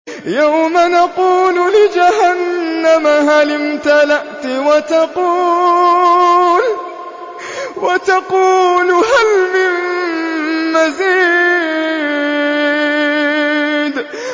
يَوْمَ نَقُولُ لِجَهَنَّمَ هَلِ امْتَلَأْتِ وَتَقُولُ هَلْ مِن مَّزِيدٍ